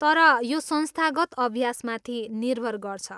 तर, यो संस्थागत् अभ्यासमाथि निर्भर गर्छ।